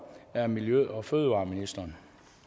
er miljø og fødevareministeren